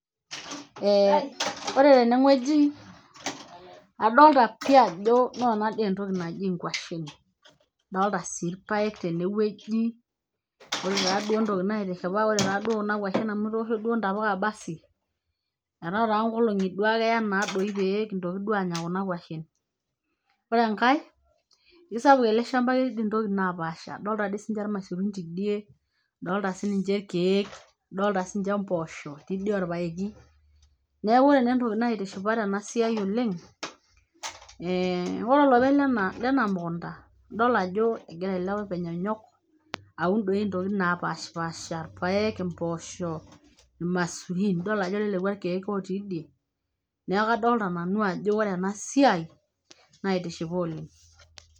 eh ore teneng'ueji adolta pii ajo noona dii entoki naji inkuashen adolta sii irpayek tenewueji ore taa duo entoki naitishipa ore taa duo kuna kuashen amu etoosho duo intapuka basi etaa taa nkolong'i duo ake eya naa doi pee kintoki duo anya kuna kuashen ore enkae isapuk ele shamba keti doi intokitin napaasha adolta dii sininche ilmaisurin tidie adolta sininche ilkeek adolta sininche mpoosho etii dii orpaeki neeku ore naa entoki naitishipa tena siai oleng eh ore olopeny lena mukunta idol ajo egira ele openy anyok aun doi intokitin napashipasha irpayek impooshok irmasurin idol ajo lelekua irkeek otii idie neeku kadolta nanu ajo ore ena siai naitishipa oleng.